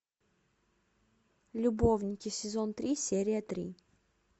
любовники сезон три серия три